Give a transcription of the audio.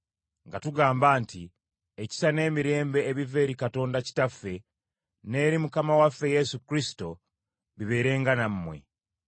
nga tugamba nti ekisa n’emirembe ebiva eri Katonda Kitaffe n’eri Mukama waffe Yesu Kristo bibeerenga nammwe;